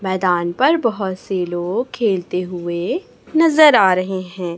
मैदान पर बहुत से लोग खेलते हुए नजर आ रहे हैं।